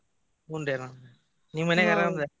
ಹುಂನ್ರಿ ಆರಾಮ್ ನಿಮ್ ಮನ್ಯಾಗ್.